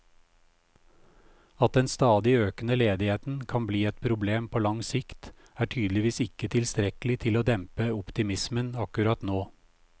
At den stadig økende ledigheten kan bli et problem på lang sikt, er tydeligvis ikke tilstrekkelig til å dempe optimismen akkurat nå.